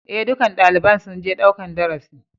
E, dukkan dalibain sun je ɗaukan darasi.